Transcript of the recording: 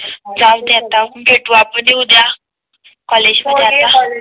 जाऊदे आता भेटू आपण हि उद्या कॉलेजला मध्ये